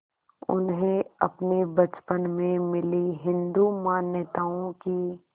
उन्हें अपने बचपन में मिली हिंदू मान्यताओं की